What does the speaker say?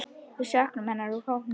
Við söknum hennar úr hópnum.